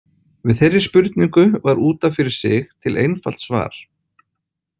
Við þeirri spurningu var út af fyrir sig til einfalt svar.